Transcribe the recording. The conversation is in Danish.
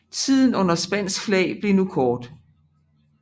Tiden under spansk flag blev nu kort